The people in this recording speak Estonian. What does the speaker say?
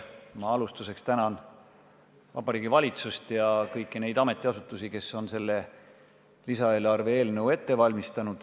Ma alustuseks tänan Vabariigi Valitsust ja kõiki neid ametiasutusi, kes on selle lisaeelarve eelnõu ette valmistanud.